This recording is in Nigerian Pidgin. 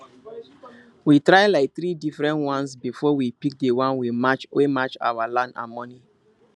we try like three different ones before we pick the one wey match our land and money